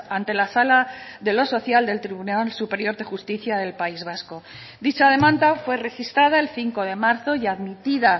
ante la sala de lo social del tribunal superior de justicia del país vasco dicha demanda fue registrada el cinco de marzo y admitida